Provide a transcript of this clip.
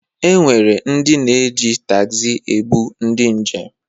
E nwere ndị ji taxi ebụ ndị njem.